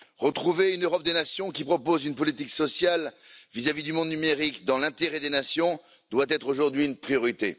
Retrouver une Europe des nations, qui propose une politique sociale vis à vis du monde numérique dans l'intérêt des nations, doit être aujourd'hui une priorité.